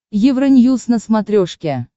евроньюз на смотрешке